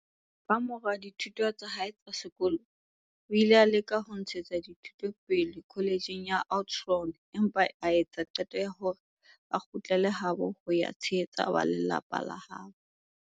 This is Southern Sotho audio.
Kamora dithuto tsa hae tsa sekolo, o ile a leka ho ntshetsa dithuto pele kholetjheng ya Oudtshoorn, empa a etsa qeto ya hore a kgutlele habo ho ya tshehetsa lelapa labo.